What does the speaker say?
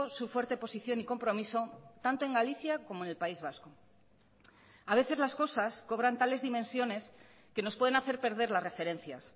su fuerte posición y compromiso tanto en galicia como en el país vasco a veces las cosas cobran tales dimensiones que nos pueden hacer perder las referencias